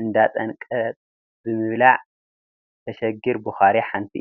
እንዳነጠቐት ብምብላዕ ተሽግር ቡኻርያ ሓንቲ እያ፡፡